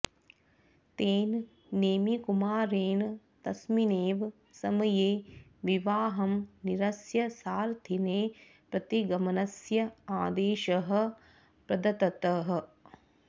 तेन नेमिकुमारेण तस्मिन्नैव समये विवाहं निरस्य सारथिने प्रतिगमनस्य आदेशः प्रदत्तः